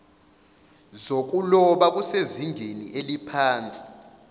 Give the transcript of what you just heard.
zokuloba kusezingeni eliphansi